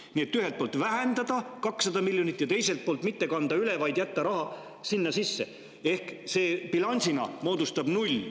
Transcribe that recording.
Nii et ühelt poolt vähendada 200 miljoni võrra ja teiselt poolt mitte kanda üle, vaid jätta raha sinna sisse, ehk bilansina moodustab see nulli.